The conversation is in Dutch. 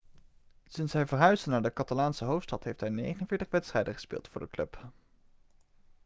sinds hij verhuisde naar de catalaanse hoofdstad heeft hij 49 wedstrijden gespeeld voor de club